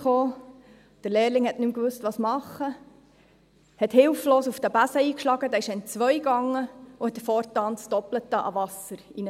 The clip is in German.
Der Lehrling wusste nicht mehr, was tun, schlug hilflos auf den Besen ein, bis dieser entzweibrach und fortan das Doppelte an Wasser hereintrug.